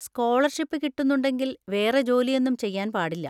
Scholarship കിട്ടുന്നുണ്ടെങ്കിൽ വേറെ ജോലിയൊന്നും ചെയ്യാൻ പാടില്ല.